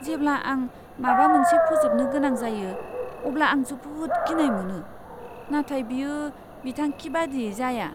जेब्ला आं माबा मोनसे फोजोबनो गोनां जायो, अब्ला आं जोबोद गिनाय मोनो, नाथाय बेयो बिथांखि बादियै जाया।